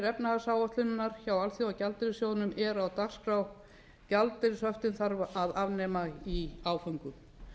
efnahagsáætlunarinnar hjá alþjóðagjaldeyrissjóðnum eru á dagskrá gjaldeyrishöftin þarf að afnema í áföngum